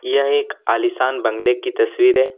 यह एक आलीशान बंगले की तस्वीर है।